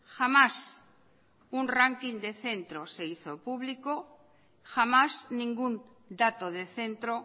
jamás un ranking de centro se hizo público jamás ningún dato de centro